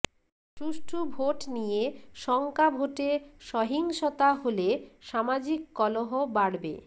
সুষ্ঠু ভোট নিয়ে শঙ্কা ভোটে সহিংসতা হলে সামাজিক কলহ বাড়বে